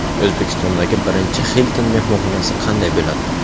O‘zbekistondagi birinchi Hilton mehmonxonasi qanday bo‘ladi?.